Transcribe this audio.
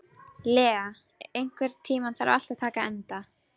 Lea, einhvern tímann þarf allt að taka enda.